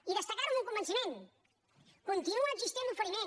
i destacar ho amb un convenciment continua existint l’oferiment